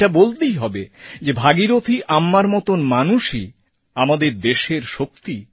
এটা বলতেই হবে যে ভাগীরথী আম্মার মতন মানুষই দেশের শক্তি